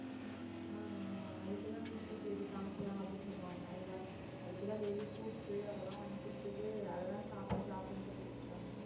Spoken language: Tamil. ஆஹ் ஆஹ் அதுக்கு தான் வீட்ல சரி காமிக்கலாம் அப்படின்னு சொன்னாங்க இதுமாதிரி அதுக்குதான் daily fruits உ அதெல்லாம் வாங்கி கொடுத்துட்டு அதுதான் சாப்பிடு சாப்பிடுன்னு சொல்லிட்ருக்காங்க